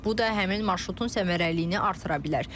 Bu da həmin marşrutun səmərəliliyini artıra bilər.